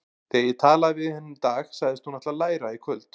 Þegar ég talaði við hana í dag sagðist hún ætla að læra í kvöld.